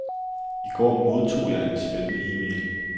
I går modtog jeg en spændende email.